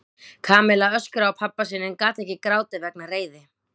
Kamilla öskraði á pabba sinn en gat ekki grátið vegna reiði.